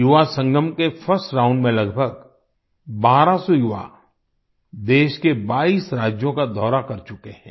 युवासंगम के first round में लगभग 1200 युवा देश के 22 राज्यों का दौरा कर चुके हैं